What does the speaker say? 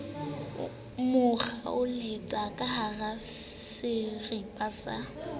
mo kgaoletsa kahara serapa sa